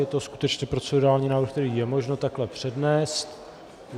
Je to skutečně procedurální návrh, který je možno takhle přednést.